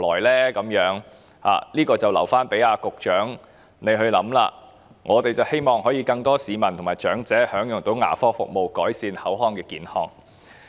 "，這問題便留待局長考量，我們希望更多市民和長者能夠享用牙科服務，改善口腔健康。